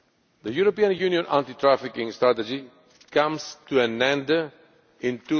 The European Union Anti trafficking Strategy comes to an end